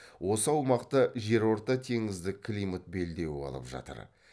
осы аумақты жерортатеңіздік климат белдеуі алып жатыр